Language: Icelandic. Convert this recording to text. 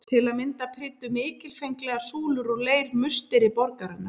Til að mynda prýddu mikilfenglegar súlur úr leir musteri borgarinnar.